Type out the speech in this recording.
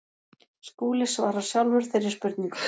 Skúli svarar sjálfur þeirri spurningu.